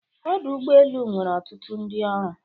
Ọdụ ụgbọ elu nwere ọtụtụ ndị ọrụ.